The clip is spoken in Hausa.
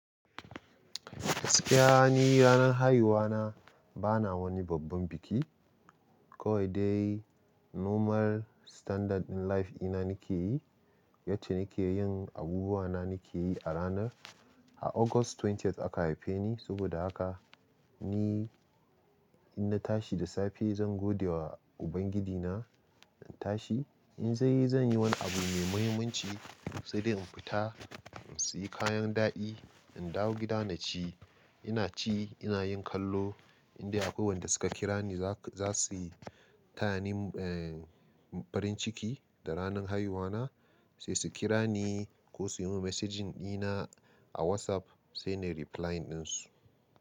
Gaskiya ni ranar haihuwa na bana wani babban biki. Kawai dai normal standard life ɗina nake yi, yacce nake yin abubuwa na nake yi a ranar. A August 20th aka haife ni sabida haka ni in na tashi da safe zan gode wa Ubangijina. In tashi, in zan yi, zan yi wani abu mai muhimmanci sai dai in fita in sayi kayan daɗi, in dawo gida na ci. Ina ci, ina yin kallo indai akwai wanda suka kira ni za su tayani eh farin ciki da ranar haihuwa na sai su kira ni ko suyi mun messaging ɗina a WhatsApp sai nayi replying dinsu.